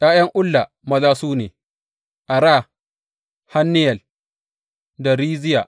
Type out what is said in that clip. ’Ya’yan Ulla maza su ne, Ara, Hanniyel da Riziya.